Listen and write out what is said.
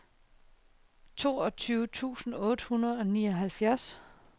toogtyve tusind otte hundrede og nioghalvfjerds